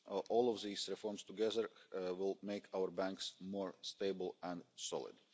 All of these reforms together will make our banks more stable and solid.